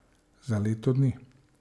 Za leto dni.